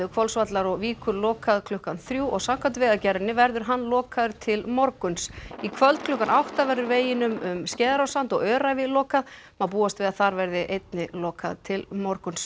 Hvolsvallar og Víkur lokað klukkan þrjú og samkvæmt Vegagerðinni verður hann lokaður til morguns í kvöld klukkan átta verður veginum um Skeiðarársand og Öræfi lokað má búast við að þar verði einnig lokað til morguns